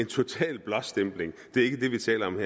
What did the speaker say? total blåstempling det er ikke det vi taler om